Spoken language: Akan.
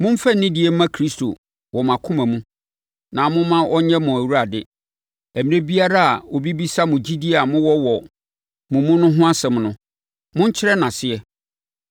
Momfa anidie mma Kristo wɔ mo akoma mu, na momma ɔnyɛ mo Awurade. Ɛberɛ biara a obi bɛbisa mo gyidie a mowɔ wɔ mo mu ho asɛm no, monkyerɛ no aseɛ.